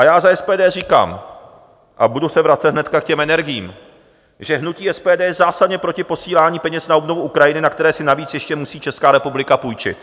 A já za SPD říkám - a budu se vracet hnedka k těm energiím - že hnutí SPD je zásadně proti posílání peněz na obnovu Ukrajiny, na které si navíc ještě musí Česká republika půjčit.